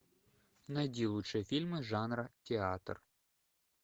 найди лучшие фильмы жанра театр